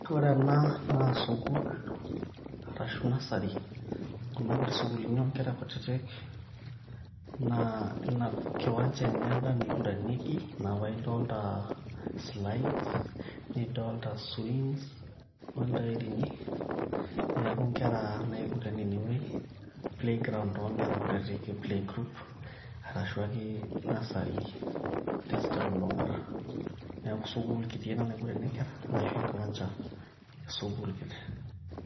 ore ena naa sukul arashu nursery kuna kuti sukuluni onkera kutitik naa ina kiwanja enye enda naiguranieki ina paedolta slides nidolta swings ontairini neeku inkera naiguranie inewueji playground oonkera kutitik e playgroup arashu ake nursery telulung'ata neeku sukul kiti ena naiguranie inkera arashu enkiwanja esukul kiti.